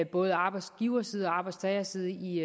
både arbejdsgiverside og arbejdstagerside i